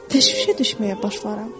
Təşvişə düşməyə başlaram.